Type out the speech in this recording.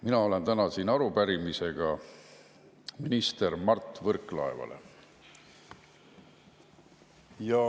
Mina olen täna siin arupärimisega minister Mart Võrklaevale.